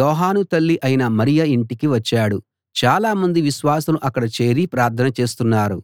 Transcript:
యోహాను తల్లి అయిన మరియ ఇంటికి వచ్చాడు చాలామంది విశ్వాసులు అక్కడ చేరి ప్రార్థన చేస్తున్నారు